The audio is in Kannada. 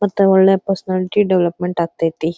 ಮತ್ತೆ ಒಳ್ಳೆ ಪರ್ಸನಾಲಿಟಿ ಡೆವಲಪ್ಮೆಂಟ್ ಆಗತೈತಿ.